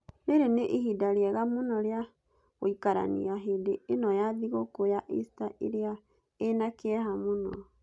Rĩrĩ nĩ ihinda rĩega mũno rĩa gũikarania hĩndĩ ĩno ya thigũkũ ya Ista ĩrĩa ĩna kĩeha mũno.